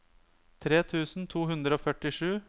tre tusen to hundre og førtisju